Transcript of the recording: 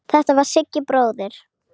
Þetta var Siggi bróðir.